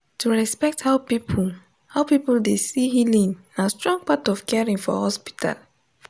to respect how people how people dey see healing na strong part of caring for hospital.